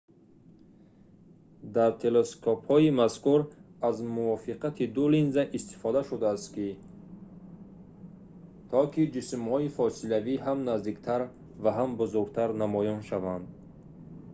дар телескопҳои мазкур аз мувофиқати ду линза истифода шудааст то ки ҷисмҳои фосилавӣ ҳам наздиктар ва ҳам бузургтар намоён шаванд